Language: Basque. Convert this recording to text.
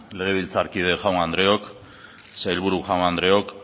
legebiltzarkide jaun andreok sailburu jaun andreok